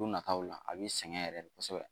Don nataaw la a b'i sɛgɛn yɛrɛ dɛ kosɛbɛ